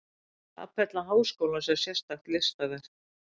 Kapella háskólans er sérstakt listaverk.